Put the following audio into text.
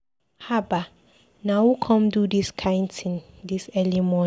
Haba! Na who come do dis kin thing dis early morning.